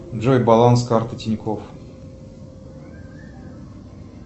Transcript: джой баланс карты тинькофф